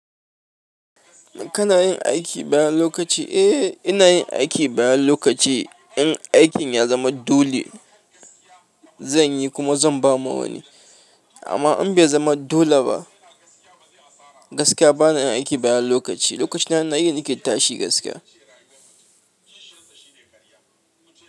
Kana yin aiki bayan lokaci? Eh, ina yin aiki bayan lokaci. In aikin ya zama dole, zan yi kuma zan ba ma wani. Amma in bai zama dole ba gaskiya bana yin aiki bayan lokaci. Lokacina na yi, nake tashi gaskiya.